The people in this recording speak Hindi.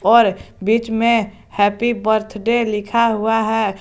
और बीच में हैप्पी बर्थडे लिखा हुआ है।